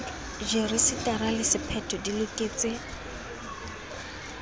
rejisetara le sephetho di loketse